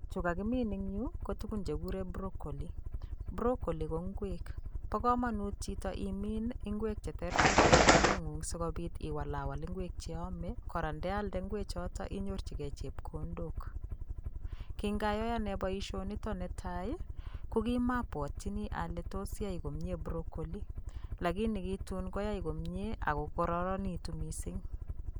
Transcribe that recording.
Chu kakimin ing yu ko tugun che kikure Broccoli, Broccoli ko ngweek, bo kamanut chito imin ing'week che terter eng imbareng'ung sikobit iwalawal ingwek che iome kora ndealde ng'wechoto inyorchikei chepkondok, ki ngayoe ane boisionito ne tai ii, ko ki mobwotyini ale tos yai komie Broccoli, lakini ki tun koyai komie ak kokararanitu mising.